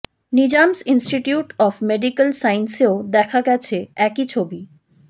Nizam's institute of medical সায়েন্সেও দেখা গেছে একই ছবি